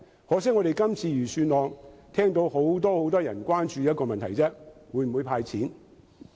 可惜，就這份預算案而言，我們聽到很多人只關注一個問題，就是會否"派錢"。